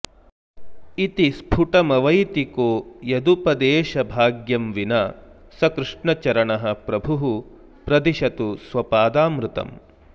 इति स्फुटमवैति को यदुपदेशभाग्यं विना स कृष्णचरणः प्रभुः प्रदिशतु स्वपादामृतम्